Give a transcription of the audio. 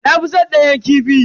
Na fi san danyen kifi.